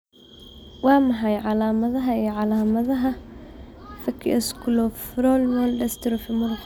Waa maxay calaamadaha iyo calaamadaha Facioscapulohumeral dystrophy muruqa?